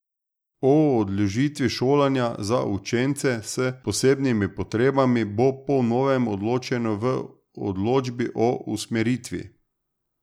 O odložitvi šolanja za učence s posebnimi potrebami bo po novem odločeno v odločbi o usmeritvi.